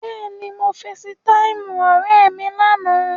Bẹ́ẹ̀ni, mo feesitáìmù ọ̀rẹ́ mi lánàá.